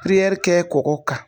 kɛ kɔgɔ kan.